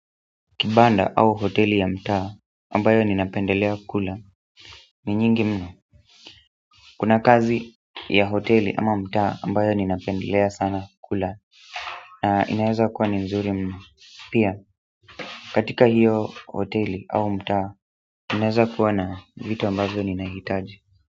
Kibanda au hoteli ya mtaa ambayo ninapendelea kula ni nyingi mno kuna kazi ya hoteli ama mtaa ambayo ninapendelea sana kula inaweza kuwa ni nzuri mno pia katika hiyo hoteli au mtaa inaweza kuwa na vitu ambavyo ninahitaji.